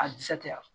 A jaatiya